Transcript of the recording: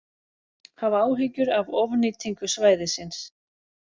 Hafa áhyggjur af ofnýtingu svæðisins